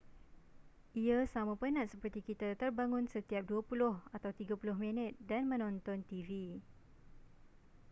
ia sama penat seperti kita terbangun setiap dua puluh atau tiga puluh minit dan menonton tv